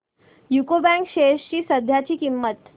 UCO bank shares ची सध्याची किंमत